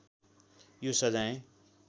यो सजाय